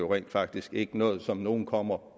rent faktisk ikke noget som nogen kommer